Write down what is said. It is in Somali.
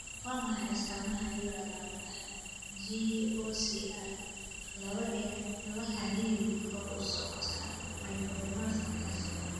Waa maxay astamaha iyo calaamadaha GOSR laba ee la xiriira horusocodka myoclonus ataxia?